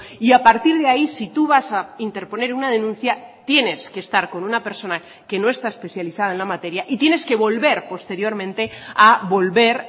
y a partir de ahí si tú vas a interponer una denuncia tienes que estar con una persona que no está especializada en la materia y tienes que volver posteriormente a volver